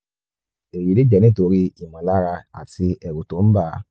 èyí lè jẹ́ nítorí ìmọ̀lára àti ẹ̀rù tó ń bà á